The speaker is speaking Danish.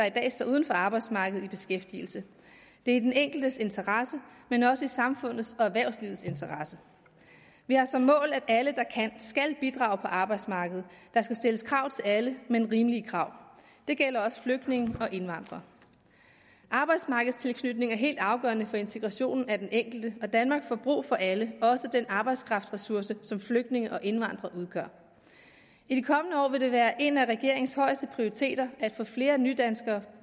i dag står uden for arbejdsmarkedet i beskæftigelse det er i den enkeltes interesse men også i samfundets og erhvervslivets interesse vi har som mål at alle der kan skal bidrage på arbejdsmarkedet der skal stilles krav til alle men rimelige krav det gælder også flygtninge og indvandrere arbejdsmarkedstilknytning er helt afgørende for integrationen af den enkelte og danmark får brug for alle også for den arbejdskraftressource som flygtninge og indvandrere udgør i de kommende år vil det være en af regeringens højeste prioriteter at få flere nydanskere